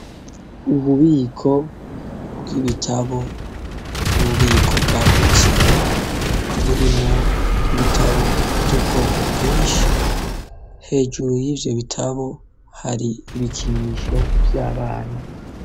Ububiko bw'ibitabo, ububiko bwagutse buri mu ibitabo vy'ubwoko bwinshi hejuru yivyo bitabo hari ibikinisho vyabana.